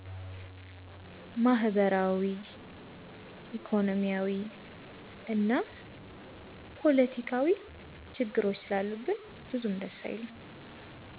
ማህበራዊ፣ ኢኮኖሚያዊ እና ፖለቲካዊ ችግሮች ስላሉብን ብዙም ደስ አይልም።